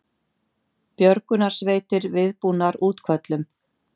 Björgunarsveitir viðbúnar útköllum